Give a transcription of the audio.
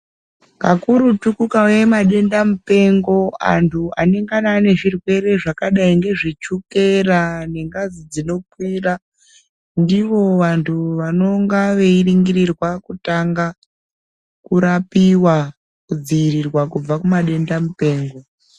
Kakurutu kukauye madenda mupengo antu anengana anezvirwere zvakadai ngezvechukera nengazi dzinokwora ndivo vantu vanonga veiringirirwa kutanga kurapiwa kudziirirwa kubva kuma denda mupengo.